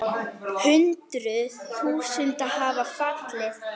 Hundruð þúsunda hafa fallið.